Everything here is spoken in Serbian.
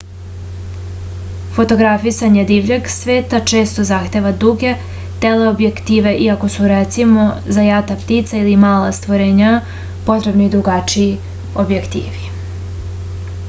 fotografisanje divljeg sveta često zahteva duge teleobjektive iako su recimo za jata ptica ili mala stvorenja potrebni drugačiji objektivi